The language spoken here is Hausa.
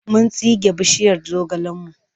Mun tsige bishiyar zogalenmu.